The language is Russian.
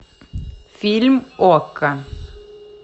фильм окко